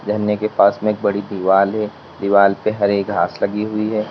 झरने के पास में एक बड़ी दीवाल है दीवाल पे हरे घास लगी हुई है।